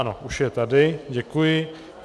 Ano, už je tady, děkuji.